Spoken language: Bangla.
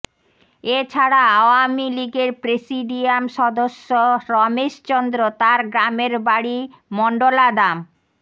এছাড়া আওয়ামী লীগের প্রেসিডিয়াম সদস্য রমেশ চন্দ্র তার গ্রামের বাড়ি মণ্ডলাদাম